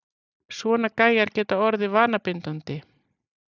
Svona gæjar geta orðið vanabindandi!